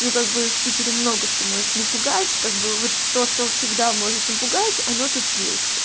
ну как бы в питере много что может напугать как бы вот то что всегда может напугать оно тут есть